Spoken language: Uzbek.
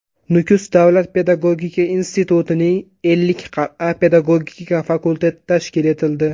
Nukus davlat pedagogika institutining Ellikqal’a pedagogika fakulteti tashkil etildi.